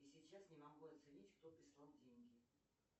сейчас не могу оценить кто прислал деньги